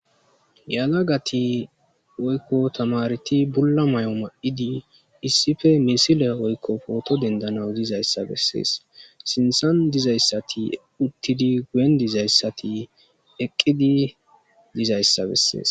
yalagati oykko tamareti bulla may7o ma7idi issife misila oykko pooto dendanaw dizayssa bessees sintsan dizayssati uttidi guyen dizayssati eqqidi dizayssa bessees